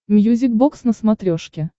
мьюзик бокс на смотрешке